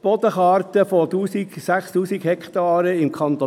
Die Bodenkarte über 6000 Hektaren im Kanton